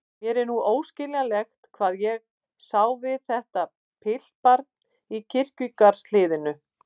Mér er núna óskiljanlegt hvað ég sá við þetta piltbarn í kirkjugarðshliðinu.